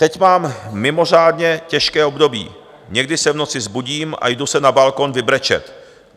"Teď mám mimořádně těžké období, někdy se v noci vzbudím a jdu se na balkon vybrečet.